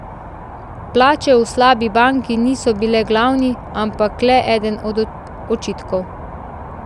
Plače v slabi banki niso bile glavni, ampak le eden od očitkov.